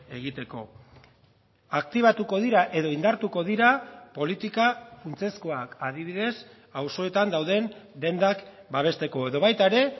egiteko aktibatuko dira edo indartuko dira politika funtsezkoak adibidez auzoetan dauden dendak babesteko edo baita ere